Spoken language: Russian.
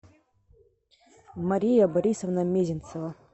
мария борисовна мезенцева